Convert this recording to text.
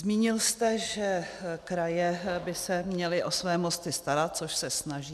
Zmínil jste, že kraje by se měly o své mosty starat, což se snaží.